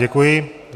Děkuji.